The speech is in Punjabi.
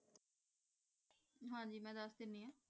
ਹਾਂਜੀ ਮੈਂ ਦਸ ਦੇਣੀ ਆਂ